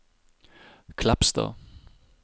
Kleppstad